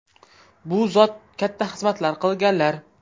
Bu zot katta xizmatlar qilganlar.